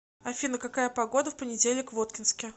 афина какая погода в понедельник в воткинске